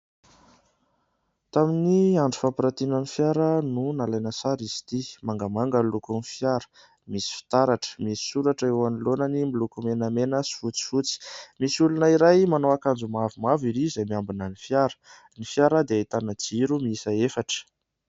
Tamin'ny andro fampirantina ny fiara no nalaina sary izy ity, mangamanga ny lokony fiara, misy fitaratra, misy soratra eo anoloanany miloko menamena sy fotsifotsy, misy olona iray manao akanjo mavomavo ery izay miambina ny fiara. Ny fiara dia ahitana jiro miisa efatra.